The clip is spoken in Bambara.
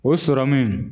O sɔrɔmu